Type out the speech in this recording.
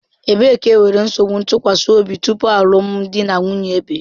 Ebee ka enwere nsogbu ntụkwasị obi tupu alụmdi na nwunye ebie?